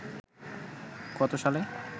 কত সালে